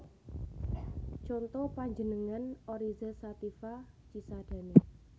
Conto panjenengan Oryza sativa Cisadane